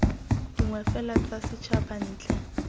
dingwe fela tsa setšhaba ntle